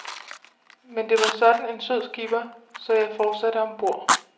Men det var sådan en sød skipper, så jeg fortsatte om bord.